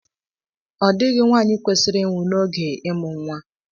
Ọ dịghị nwanyị kwesịrị ịnwụ n'oge ịmụ nwa